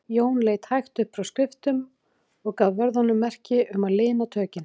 Jón leit hægt upp frá skriftum og gaf vörðunum merki um að lina tökin.